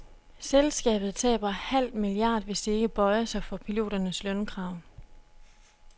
Selskabet taber halv milliard hvis de ikke bøjer sig for piloternes lønkrav.